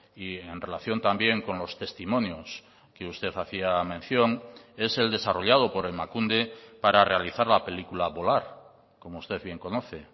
y en relación también con los testimonios que usted hacía mención es el desarrollado por emakunde para realizar la película volar como usted bien conoce